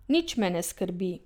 Nič me ne skrbi.